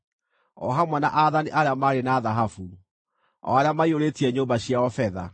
o hamwe na aathani arĩa maarĩ na thahabu, o arĩa maiyũrĩtie nyũmba ciao betha.